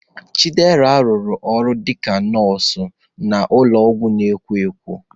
Chidera rụrụ ọrụ dị ka ndị nọọsụ n'ụlọọgwụ na-ekwo ekwo.